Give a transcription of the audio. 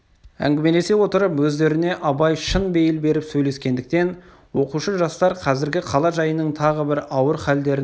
әңгімелесе отырып өздеріне абай шын бейіл беріп сөйлескендіктен оқушы жастар қазіргі қала жайының тағы бір ауыр халдерін айта